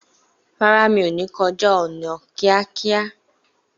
Rárá, mi ò ní kọjá ọ̀nà kíákíá